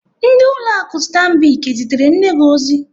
Ndị ụlọ akụ Stambic ezitere nne gi ozi?